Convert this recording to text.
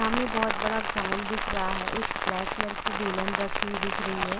सामने बहुत बड़ा ग्राउंड दिख रहा है एक ब्लैक कलर की बेलन रखी हुए दिख रही है।